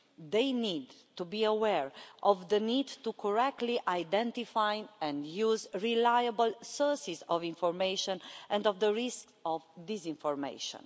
They need to be aware of the need to identify correctly, and use, reliable sources of information and of the risk of disinformation.